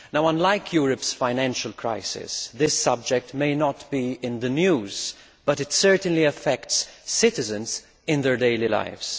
Unlike Europe's financial crisis, this subject may not be in the news, but it certainly affects citizens in their daily lives.